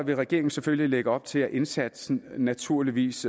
vil regeringen selvfølgelig lægge op til at indsatsen naturligvis